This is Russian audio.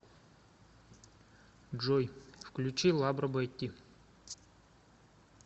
джой включи лабро бетти